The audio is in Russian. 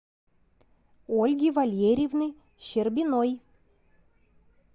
ольги валерьевны щербиной